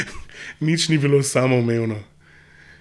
Nič ni bilo samoumevno.